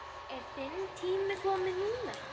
Er þinn tími kominn núna?